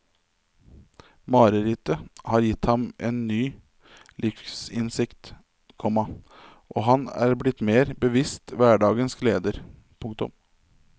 Marerittet har gitt ham ny livsinnsikt, komma og han er blitt mer bevisst hverdagens gleder. punktum